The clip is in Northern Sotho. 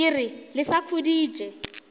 ke re le sa khuditše